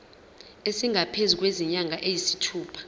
esingaphezu kwezinyanga eziyisithupha